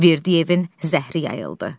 Verdiyevin zəhəri yayıldı.